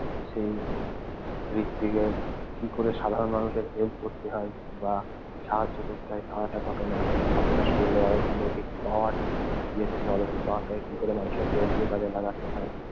সেই হৃত্বিকের কি করে সাধারণ মানুষের help করতে হয় বা সাহায্য করতে হয় তার একটা ঘটনা। তাছাড়া শরীরের অলৌকিক power কি করে মানুষের help এ কাজে লাগাতে হয়।